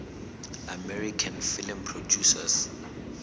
american film producers